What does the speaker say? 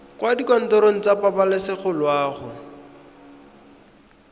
kwa dikantorong tsa pabalesego loago